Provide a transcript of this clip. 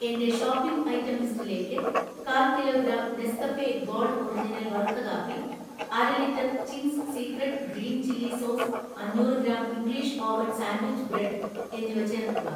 എന്‍റെ shopping item ലിസ്റ്റിലേക്ക് കാൽ kilo gram Nescafe Gold original വറുത്ത കാപ്പി, അര litre Ching's secret green chilli sauce അഞ്ഞൂറ് gram English oven sandwich bread എന്നിവ ചേർക്കുക